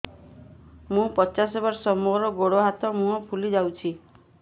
ମୁ ପଚାଶ ବର୍ଷ ମୋର ଗୋଡ ହାତ ମୁହଁ ଫୁଲି ଯାଉଛି